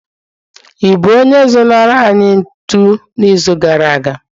I bụ onye zụnara anyị ntu n'izu gara aga?